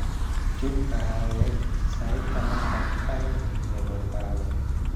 chob kahawek sait taman ak aen nebo karon